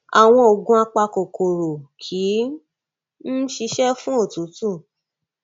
àwọn òògùn apa kòkòrò ò kí ń ṣiṣẹ fún òtútù